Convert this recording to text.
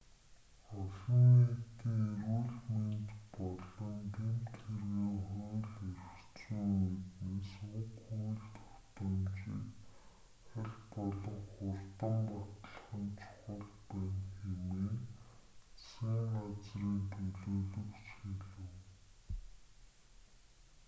олон нийтийн эрүүл мэнд болон гэмт хэргийн хууль эрх зүйн үүднээс уг хууль тогтоомжийг аль болох хурдан батлах нь чухал байна хэмээн засгийн газрын төлөөлөгч хэлэв